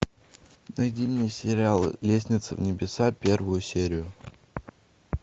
найди мне сериал лестница в небеса первую серию